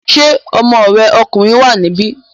Ṣé ọmọ rẹ̀ ọkùnrin wà níbí?